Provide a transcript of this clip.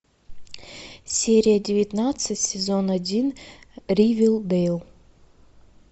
серия девятнадцать сезон один ривердейл